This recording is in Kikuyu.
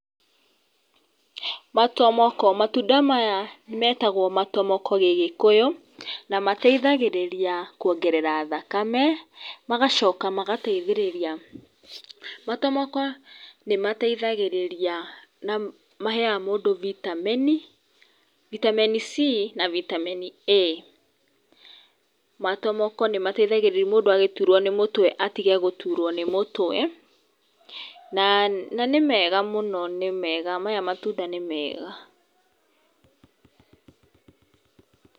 Matomoko, matunda maya metagwo matomoko gĩgĩkũyũ na mateithagĩrĩria kuongerera thakame magacoka magateithĩrĩria, matomoko nĩmateithagĩrĩria na maheaga mũndũ vitameni, vitameni C na vitameni A. Matomoko nĩmateithagĩrĩria mũndũ agĩtũrwo nĩ mũtwe atige gũtũrwo nĩ mũtwe na nĩ mega mũno nĩ mega maya matunda nĩ mega.